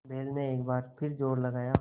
बैल ने एक बार फिर जोर लगाया